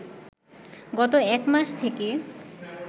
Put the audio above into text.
গত এক মাস থেকে